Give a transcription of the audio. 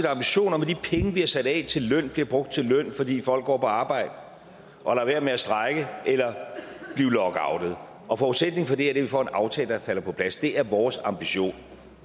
ambition om at de penge vi har sat af til løn bliver brugt til løn fordi folk går på arbejde og lader være med at strejke eller blive lockoutet og forudsætningen for det er at vi får en aftale der falder på plads det er vores ambition